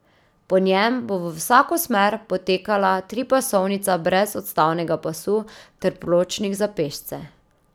Po njem bo v vsako smer potekala tripasovnica brez odstavnega pasu ter pločnik za pešce.